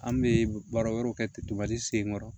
An bɛ baara wɛrɛw kɛ tentobali senkɔrɔ